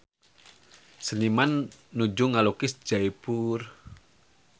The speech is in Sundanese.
Seniman nuju ngalukis Jaipur